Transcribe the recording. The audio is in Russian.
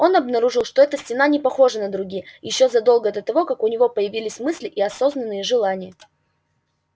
он обнаружил что эта стена не похожа на другие ещё задолго до того как у него появились мысли и осознанные желания